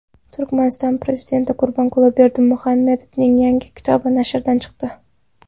Turkmaniston prezidenti Gurbanguli Berdimuhamedovning yangi kitobi nashrdan chiqdi.